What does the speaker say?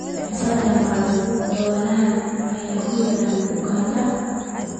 Immisa jaamacadaha dadweynaha ayaa ku yaal Uganda?